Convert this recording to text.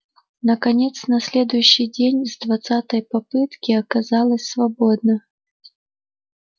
наконец на следующий день с двадцатой попытки оказалось свободно